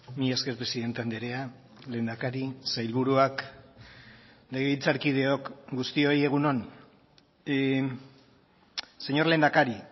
mila esker presidente andrea lehendakari sailburuak legebiltzarkideok guztioi egun on señor lehendakari